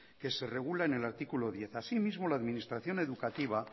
que se regula en el artículo diez asimismo la administración educativa